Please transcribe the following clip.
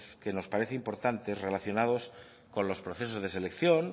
que nos parecen importantes relacionados con los procesos de selección